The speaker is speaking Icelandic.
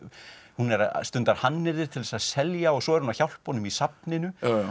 hún stundar hannyrðir til þess að selja og svo er hún að hjálpa honum í safninu